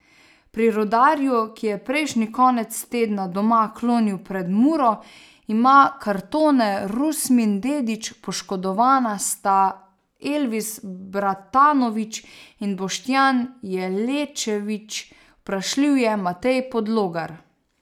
Pri Rudarju, ki je prejšnji konec tedna doma klonil pred Muro, ima kartone Rusmin Dedić, poškodovana sta Elvis Bratanović in Boštjan Jelečević, vprašljiv je Matej Podlogar.